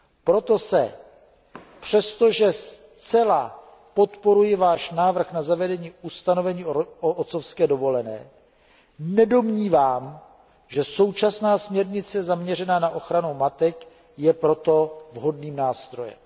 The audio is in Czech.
Proto se přestože zcela podporuji váš návrh na zavedení ustanovení o otcovské dovolené nedomnívám, že současná směrnice, zaměřená na ochranu matek, je pro to vhodným nástrojem.